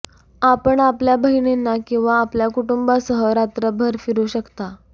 आपण आपल्या बहिणींना किंवा आपल्या कुटुंबासह रात्रभर फिरू शकता